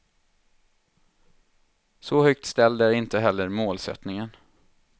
Så högt ställd är inte heller målsättningen.